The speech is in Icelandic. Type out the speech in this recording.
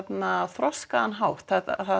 þroskaðan hátt